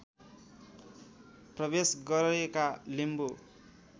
प्रवेश गरेका लिम्बू